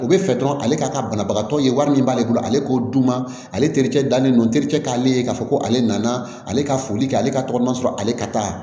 U bɛ fɛ dɔrɔn ale ka banabagatɔ ye wari min b'ale bolo ale k'o dun ma ale ale terikɛ dannen don terikɛ k'ale ye k'a fɔ ko ale nana ale ka foli kɛ ale ka tɔgɔma sɔrɔ ale ka taa